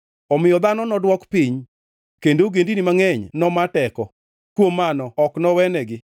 Omiyo dhano nodwok piny kendo ogendini mangʼeny noma teko, kuom mano ok nowenegi.